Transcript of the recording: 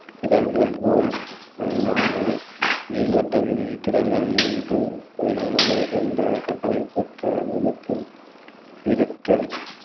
திரள்கள் போல் அல்லாமல் நீள் வட்ட மின்மீன் திரள்கள் மூன்று பரிணாமங்களை கொண்ட கட்டமைப்பு பெற்ற மையத்தில் சீரற்ற